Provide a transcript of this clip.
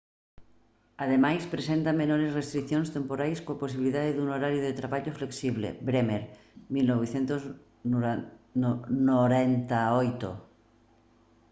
ademais presenta menores restricións temporais coa posibilidade dun horario de traballo flexible bremer 1998